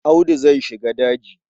Audu zai shiga daji.